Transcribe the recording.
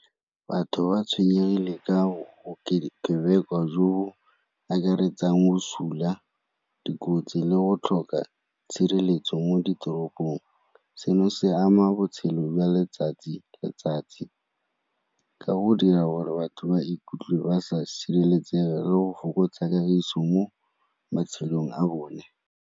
Batho ba tshwenyegile ka bokebekwa jo akaretsang bosula, dikotsi, le go tlhoka tshireletso mo ditoropong. Seno se ama botshelo jwa letsatsi le letsatsi ka go dira gore batho ba ikutlwe ba sa sireletsega le go fokotsa kagiso mo matshelong a bone.